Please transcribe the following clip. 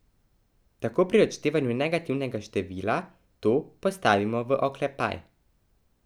Tako pri odštevanju negativnega števila to postavimo v oklepaj.